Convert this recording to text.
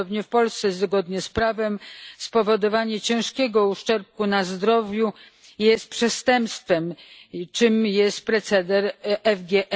Podobnie w Polsce zgodnie z prawem spowodowanie ciężkiego uszczerbku na zdrowiu jest przestępstwem, a tym jest proceder FGM.